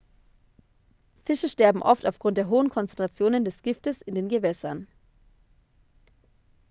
fische sterben oft aufgrund der hohen konzentrationen des giftes in den gewässern